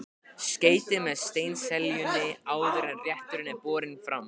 Skreytið með steinseljunni áður en rétturinn er borinn fram.